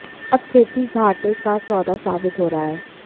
अब खेती घाटे का सौदा साबित हो रहा है